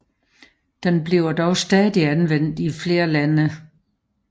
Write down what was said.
Den bliver dog stadig anvendt i flere lande